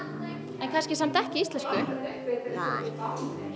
en kannski samt ekki íslensku